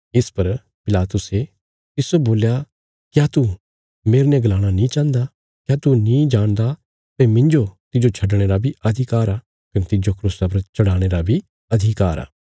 इस पर पिलातुसे तिस्सो बोल्या क्या तू मेरने गलाणा नीं चाहन्दा क्या तू नीं जाणदा भई मिन्जो तिज्जो छडणे रा बी अधिकार आ कने तिज्जो क्रूसा पर चढ़ाणे रा बी अधिकार आ